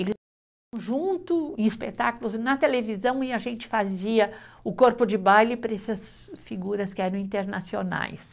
junto em espetáculos, na televisão, e a gente fazia o corpo de baile para essas figuras que eram internacionais.